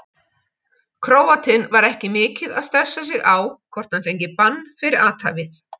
Króatinn var ekki mikið að stressa sig á hvort hann fengi bann fyrir athæfið.